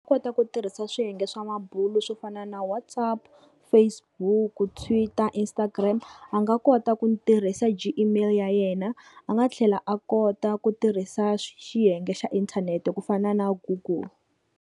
U kota ku tirhisa swiyenge swa mabulo swo fana na WhatsApp, Facebook, Twitter, Instagram a nga kota ku tirhisa Gmail ya yena a nga tlhela a kota ku tirhisa xiyenge xa inthanete ku fana na google.